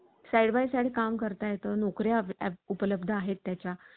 side by side काम करता येत. नोकऱ्या उपलब्ध आहेत त्याच्या